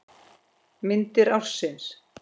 Myndir ársins